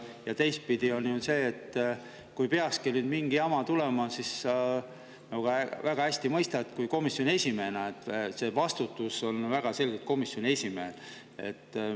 Ja teistpidi on see, et kui peakski mingi jama tulema, siis sa väga hästi mõistad komisjoni esimehena, et vastutus on väga selgelt komisjoni esimehel.